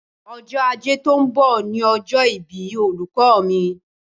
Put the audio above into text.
Ọjọ́ Ajé tó ń bọ̀ ni ọjọ́ ìbí olùkọ́ mi.